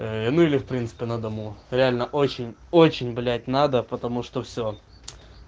ну или в принципе на дому реально очень очень блять надо потому что всё